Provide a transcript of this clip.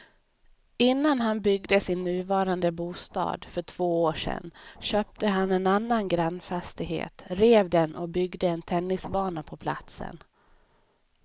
Innan han byggde sin nuvarande bostad för två år sedan köpte han en annan grannfastighet, rev den och byggde en tennisbana på platsen.